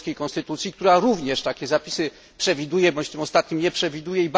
polskiej konstytucji, która również takie zapisy przewiduje, bądź w tym ostatnim nie przewiduje.